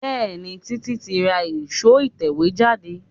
Bẹẹni, títí tí ra èro ìtẹ̀wẹ́ jáde.